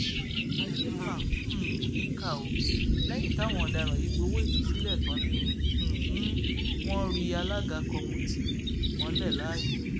ayé mà um níkà o lẹyìn táwọn ọdaràn yìí gbowó ìtúsílẹ tán ni um wọn ri alága kọmùtì mọlẹ láàyè